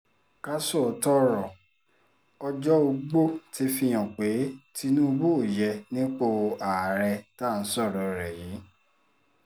ká sòótọ́ ọ̀rọ̀ ọjọ́-ọgbọ́ ti fihàn pé tinubu ò yé nípò àárẹ̀ tá à ń sọ̀rọ̀ ẹ̀ yìí